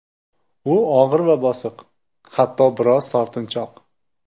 U og‘ir va bosiq, hatto biroz tortinchoq.